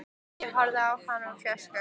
Ég horfði á hann úr fjarska.